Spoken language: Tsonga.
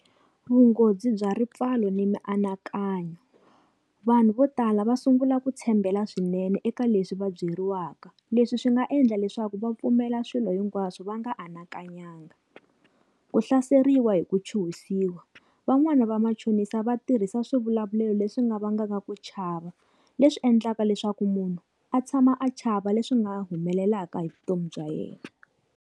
Vunghozi bya ripfalo ni mianakanyo vanhu vo tala va sungula ku tshembela swinene eka leswi va byeriwaka leswi swi nga endla leswaku vapfumela swilo hinkwaswo va nga anakanyanga. Ku hlaseriwa hi ku chuhisiwa van'wani va machonisa vatirhisa swivulavulelo leswi nga vangaka ku chava leswi endlaka leswaku munhu a tshama a chava leswi nga humelelaka hi vutomi bya yena.